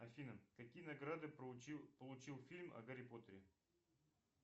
афина какие награды получил фильм о гарри поттере